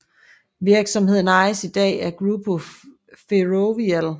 Virksomheden ejes i dag af Grupo Ferrovial